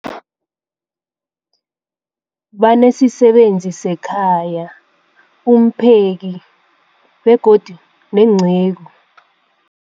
Banesisebenzi sekhaya, umpheki, begodu nenceku.